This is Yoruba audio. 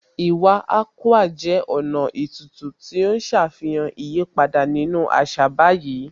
Iwa Akwa jẹ́ ọ̀nà ètùtù tí ó ń ṣàfihàn ìyípadà nínú àṣà báyìí